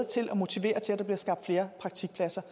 til at motivere til at der bliver skabt flere praktikpladser